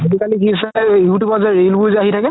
আজিকালি কি হৈছে you tube ত ৰিল বোৰ যে আহি থাকে